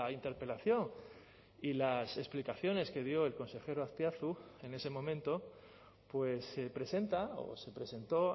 interpelación y las explicaciones que dio el consejero azpiazu en ese momento pues se presenta o se presentó